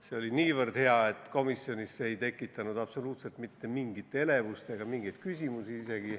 See oli niivõrd hea, et komisjonis ei tekitanud see absoluutselt mitte mingit elevust ega mingeid küsimusi.